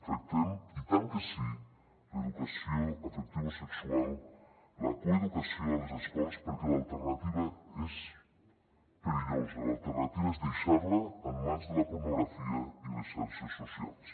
tractem i tant que sí l’educació afectivosexual la coeducació a les escoles perquè l’alternativa és perillosa l’alternativa és deixar la en mans de la pornografia i les xarxes socials